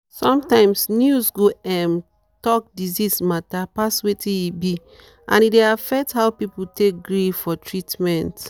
sometimes news go um talk disease matter pass wetin e be and e dey affect how people take gree for treatment.